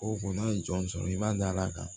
O ko n'a ye jɔn sɔrɔ i b'a dala kan